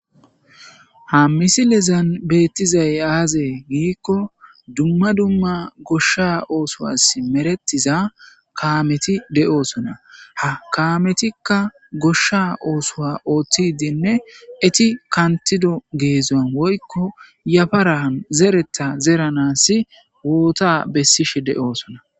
ha misilezan beettizay aazee giikko dumma dumma goshsha oosoa meretiza kaameti de'oosona ha kaametikka goshsha oosowa ooththidinne eti kantido geezzan woykko yafaraan zereta zeranas woota bessishe de'oosona